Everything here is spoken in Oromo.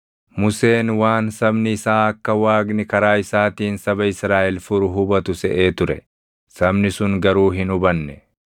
Museen waan sabni isaa akka Waaqni karaa isaatiin saba Israaʼel furu hubatu seʼee ture; sabni sun garuu hin hubanne.